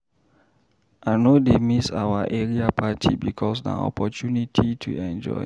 I no dey miss our area party because na opportunity to enjoy.